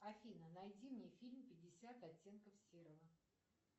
афина найди мне фильм пятьдесят оттенков серого